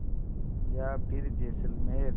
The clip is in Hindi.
या फिर जैसलमेर